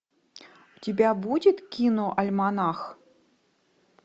у тебя будет киноальманах